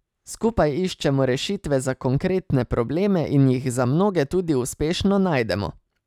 Skupaj iščemo rešitve za konkretne probleme in jih za mnoge tudi uspešno najdemo.